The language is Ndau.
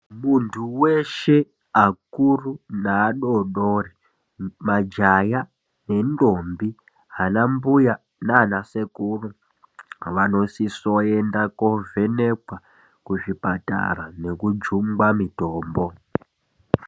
Muntu weshe akuru neadodori majaha nendombi ana mbuya nana sekuru vanosisa kuenda kovhenekwa kuzvipatara nekujungwa mitombo.